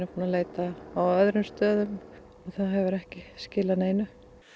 búin að leita á öðrum stöðum það hefur ekki skilað neinu